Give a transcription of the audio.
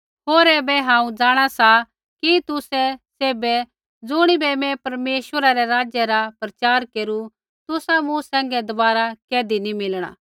होर ऐबै हांऊँ जाँणा सा कि तुसै सैभै ज़ुणिबै मैं परमेश्वरै रै राज्य रा प्रचार केरू तुसा मूँ सैंघै दबारा कैधी नी मिलणा